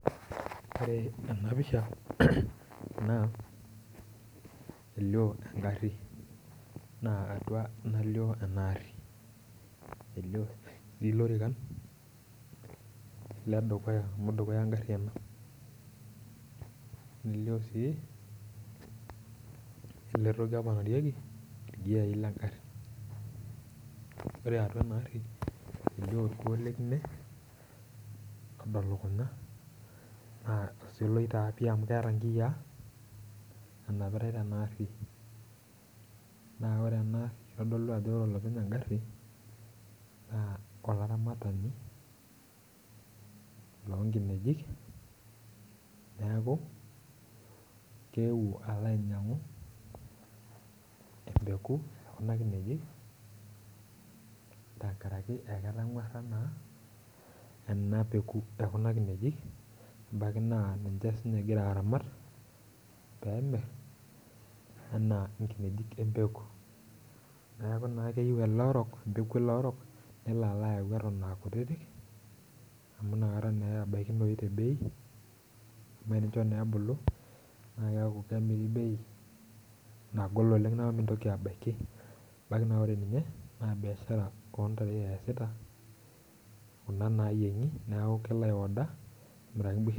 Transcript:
Ore ena pisha naa elio engarri naa atua nalio ena arri elio sii ilorikan ledukuya amu dukuya engarri ena nelio sii ele toki apanarieki irgiai lengarri ore atua ena arri elio orkuo lekine odo lukunya naa osioloi taa pii amu keeta inkiyia enapitae tena arri naa ore ena itodolu ajo ore olopeny engarri naa olaramatani lonkinejik neeku kewuo alo ainyiang'u empeku ekuna kinejik ankarake aketang'uarra naa ena peku ekuna kinejik ebaki naa ninche sininye egira aramat peemirr enaa inkinejik empeku neeku naa keyieu ele orok empeku ele orok nelo alo ayau eton akutitik amu inakata naa ebaikinoi te bei amu enicho naa ebulu naa keeku kemiri bei nagol oleng naku mintoki abaiki ebaki naa ore ninye naa biashara ontare eyasita kuna nayieng'i neku kelo ae order amiraki imbusherri.